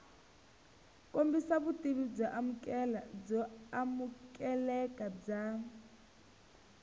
kombisa vutivi byo amukeleka bya